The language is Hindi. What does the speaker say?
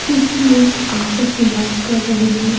कुछ लोग आपस में बात कर रहे हैं।